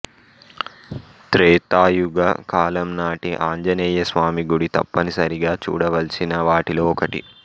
త్రేతాయుగ కాలం నాటి ఆంజనేయ స్వామి గుడి తప్పనిసరిగా చూడవలసిన వాటిలో ఒకటి